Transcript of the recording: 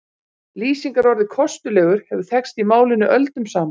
Lýsingarorðið kostulegur hefur þekkst í málinu öldum saman.